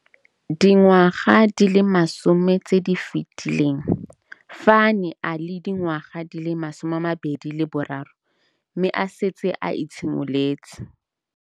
Dingwaga di le 10 tse di fetileng, fa a ne a le dingwaga di le 23 mme a setse a itshimoletse.